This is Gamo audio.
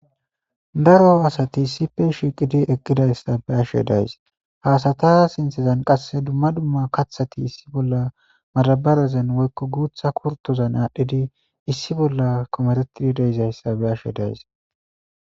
daro asati isipe shiqidi eqqidayssa be'ashe days haasata sinthezan qasse dumma dumma kathati issi bolla marabarazen woykko guutha kurtozan aadhdhidi issi bolla komeretidi deizayssa be ashe days